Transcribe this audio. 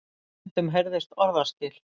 Stundum heyrðust orðaskil.